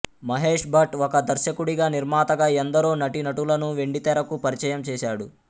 మహేష్ భట్ ఒక దర్శకుడిగా నిర్మాతగా ఎందరో నటీనటులను వెండితెరకు పరిచయం చేశాడు